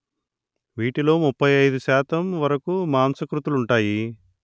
వీటిలో ముప్పై అయిదు శాతం వరకు మాంసకృతులు ఉంటాయి